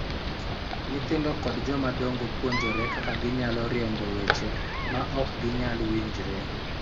Nyithindo kod jomadongo puonjore kaka ginyalo riembo weche ma ok ginyal winjre